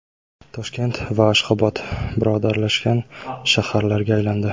Toshkent va Ashxobod birodarlashgan shaharlarga aylandi.